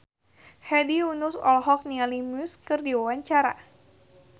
Hedi Yunus olohok ningali Muse keur diwawancara